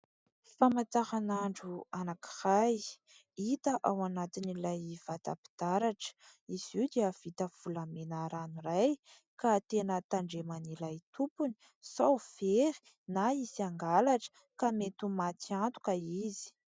Famantaranandro anankiray, hita ao anatin'ilay vata-pitaratra. Izy oo dia vita volamena ranoray ka tena tandreman'ilay tompony sao very na hisy hangalatra ka mety ho maty antoka izy.